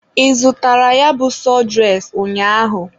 Ị zụtara ya bụ sọdụres ụnyaahụ?